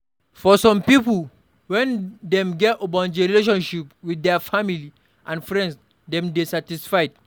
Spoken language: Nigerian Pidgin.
For some pipo, when dem get ogbonge relationship with their family and friends dem dey satisfied